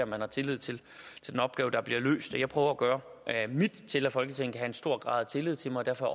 om man har tillid til den opgave der bliver løst jeg prøver at gøre mit til at folketinget kan stor grad af tillid til mig og derfor